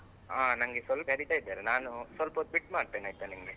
ಹ ನಂಗೆ ಸ್ವಲ್ಪ ಕರೀತಾ ಇದಾರೆ ನಾನು ಸ್ವಲ್ಪ ಹೊತ್ತು ಬಿಟ್ಟು ಮಾಡ್ತೇನೆ ಆಯಿತಾ ನಿಮಗೆ.